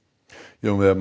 Jón Viðar